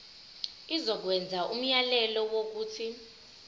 izokwenza umyalelo wokuthi